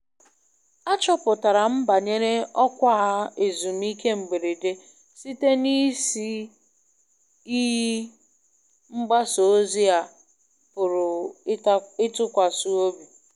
Achọpụtara m banyere ọkwa ezumike mberede site na isi iyi mgbasa ozi a pụrụ ịtụkwasị obi.